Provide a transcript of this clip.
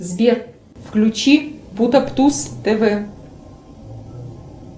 сбер включи путаптус тв